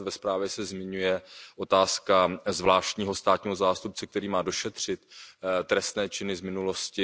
ve zprávě se zmiňuje otázka zvláštního státního zástupce, který má došetřit trestné činy z minulosti.